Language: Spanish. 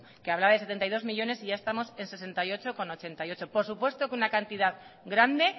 que hablaba de setenta y dos millónes y ya estamos en sesenta y ocho coma ochenta y ocho por supuesto que es una cantidad grande